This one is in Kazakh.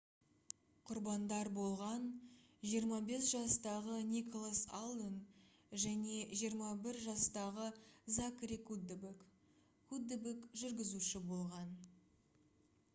құрбандар болған 25 жастағы николас алден және 21 жастағы закари куддебек куддебек жүргізуші болған